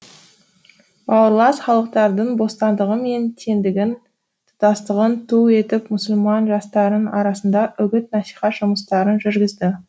бауырлас халықтардың бостандығы мен теңдігін тұтастығын ту етіп мұсылман жастарының арасында үгіт насихат жұмыстарын жүргізді